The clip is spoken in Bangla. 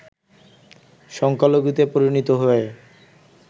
সংখ্যালঘুতে পরিণত হয়